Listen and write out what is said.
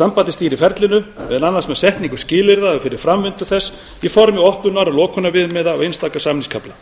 sambandið stýrir ferlinu meðal annars með setningu skilyrða fyrir framvindu þess í formi opnunar og lokunarviðmiða á einstaka samningskafla